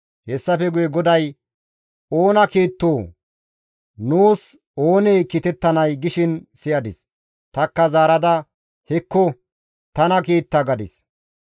Hessafe guye GODAY, «Oona kiittoo? Nuus oonee kiitettanay?» gishin siyadis. Tanikka zaarada, «Hekko, tana kiita» gadis.